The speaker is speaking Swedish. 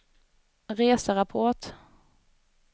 reserapport